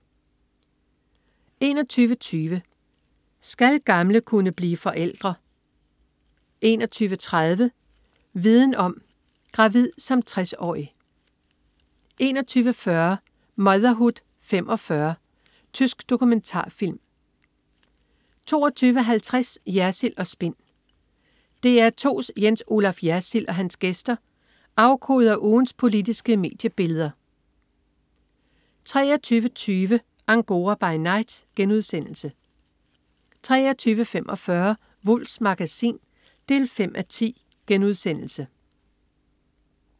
21.20 Skal gamle kunne blive forældre? 21.30 Viden om: Gravid som 60-årig 21.40 Motherhood 45. Tysk dokumentarfilm 22.50 Jersild & Spin. DR2's Jens Olaf Jersild og hans gæster afkoder ugens politiske mediebilleder 23.20 Angora by night* 23.45 Wulffs Magasin 5:10*